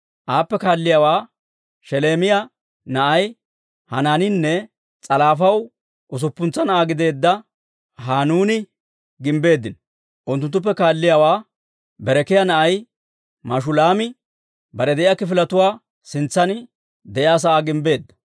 Aappe kaalliyaawaa Sheleemiyaa na'ay Hanaaniinne S'alaafaw usuppuntsa na'aa gideedda Hanuuni gimbbeeddino. Unttunttuppe kaalliyaawaa Berekiyaa na'ay Mashulaami bare de'iyaa kifiletuwaa sintsan de'iyaa sa'aa gimbbeedda.